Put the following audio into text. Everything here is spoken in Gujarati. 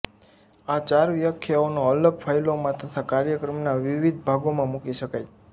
આ ચાર વ્યાખ્યાઓને અલગ ફાઈલોમાં તથા કાર્યક્રમના વિવિધ ભાગોમાં મૂકી શકાય